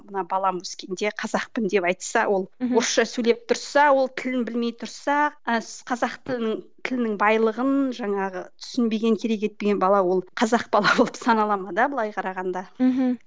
мына балам өскенде қазақпын деп айтса ол орысша сөйлеп тұрса ол тілін білмей тұрса і қазақ тілінің тілінің байлығын жаңағы түсінбеген керек етпеген бала ол қазақ бала болып санала ма да былай қарағанда мхм